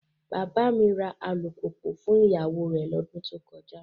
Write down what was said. Bàbá mi ra alùpùpù fún ìyàwó rẹ̀ lọ́dún tó kọjá.